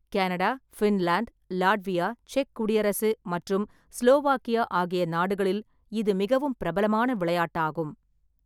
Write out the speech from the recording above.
Canada, Finland, Latvia, செக் குடியரசு மற்றும் ஸ்லோவாக்கியா ஆகிய நாடுகளில் இது மிகவும் பிரபலமான விளையாட்டாகும்.